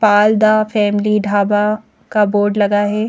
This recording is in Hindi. पाल द फैमिली ढाबा का बोर्ड लगा है।